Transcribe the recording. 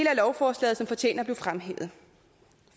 af lovforslaget som fortjener at blive fremhævet